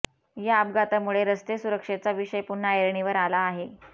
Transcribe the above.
या अपघातामुळे रस्ते सुरक्षेचा विषय पुन्हा ऐरणीवर आला आहे